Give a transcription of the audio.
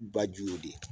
Ba ju de ye